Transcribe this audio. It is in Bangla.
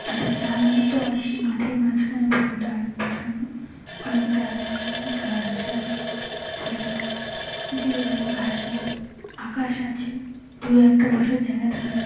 একটা জাল মত আছে মাঠের মাঝখানে বন্ধ বসানো। অনেক গাছ আছে। ঘাস আছে। ছোট ছোট। কিছু জায়গায় আবার ঘাস নেই। আকাশ আছে। দু একটা বসার জায়গা দেখা যাচ্ছ--